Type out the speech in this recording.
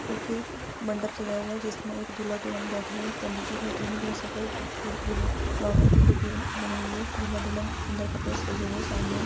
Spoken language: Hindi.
एक मंडप सजा हुआ है जिसमे एक दुल्हा दुल्हन बेटे हुए है एक पंडित जी बेठे हुए है जहा पूर्ण ब्राउन रंग की टोपी बनी हुई है दूल्हा दुल्हन सुंदर कपड़ोसे सजे हुए है सामने--